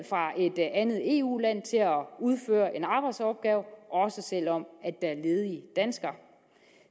fra et andet eu land til at udføre en arbejdsopgave også selv om der er ledige danskere